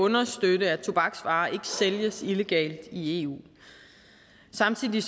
at understøtte at tobaksvarer ikke sælges illegalt i eu samtidig er